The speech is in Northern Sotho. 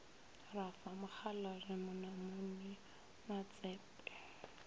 ra fa mokgalabje monamodi matsepe